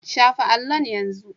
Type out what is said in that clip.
Shafa allon yanzu!